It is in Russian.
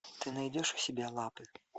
ты найдешь у себя лапы